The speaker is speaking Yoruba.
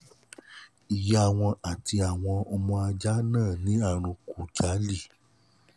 ìyá wọn àti àwọn ọmọ ajá náà ní ààrùn khujali